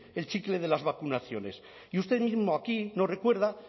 el chicle de las vacunaciones y usted mismo aquí nos recuerda